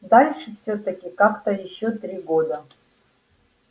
дальше всё-таки как-то ещё три года